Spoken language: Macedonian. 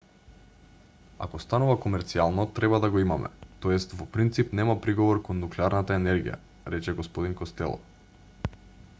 ако станува комерцијално треба да го имаме т.е. во принцип нема приговор кон нуклеарната енергија рече г костело